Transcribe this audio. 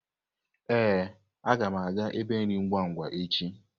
Ee, aga m aga ébé nri ngwa-ngwa echi.